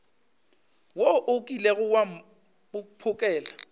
wo o kilego wa mphokela